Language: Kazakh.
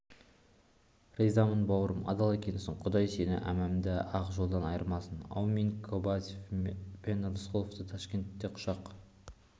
ризамын бауырым адал екенсің құдай сені әманда ақ жолдан айырмасын әумин кобозев пен рысқұловты ташкентте құшақ